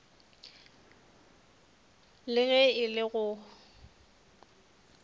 le ge e le go